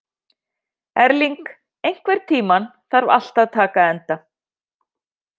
Erling, einhvern tímann þarf allt að taka enda.